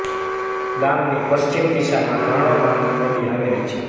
ગામની પશ્ચિમ દિશામાં ઘાણો નામની નદી આવેલી છે